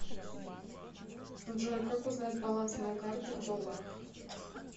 джой как узнать баланс моей карты в долларах